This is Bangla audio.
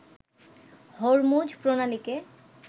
হরমুজ প্রণালীকে